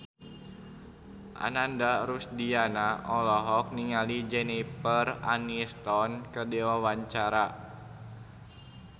Ananda Rusdiana olohok ningali Jennifer Aniston keur diwawancara